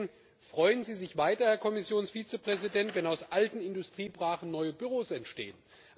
Und deswegen Freuen Sie sich weiter, Herr Kommissionsvizepräsident, wenn aus alten Industriebrachen neue Büros entstehen.